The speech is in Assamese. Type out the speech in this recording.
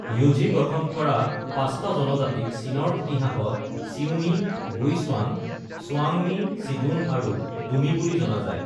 য়ুঝি গঠন কৰা পাঁচটা জনজাতিক চীনৰ ইতিহাসত চিউমী, গুইচুৱাঙ, চুৱাঙমী, চিডুন আৰু ডুমি বুলি জনা যায়।